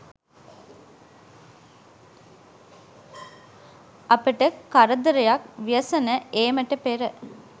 අපට කරදරයක් ව්‍යසන ඒමට පෙර